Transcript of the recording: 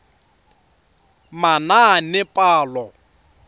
manaanepalo